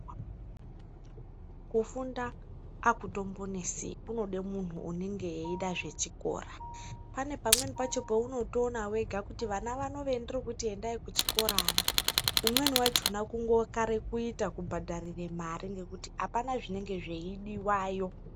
Kufunda akutombonesi, kunode munhu unenge eida zvechikora. Pane pamweni paunoona wega kuti vana vano vendirikuti endai kuchikora ava, umweni wachona kungokare kuita kungobhadharire mare, apana zvinenge zveidiwayo.